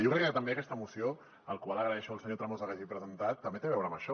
jo crec que també aquesta moció la qual agraeixo al senyor tremosa que hagi presentat també té a veure amb això